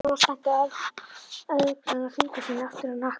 spurði læknirinn og spennti örgranna fingur sína aftur á hnakka.